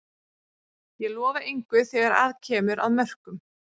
Ég lofa engu þegar að kemur að mörkum.